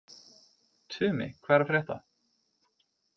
Tumi, hvað er að frétta?